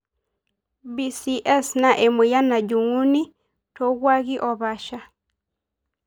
BCS naa emoyian najunguni tokwaki opasha.